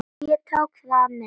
Ég tók þetta með.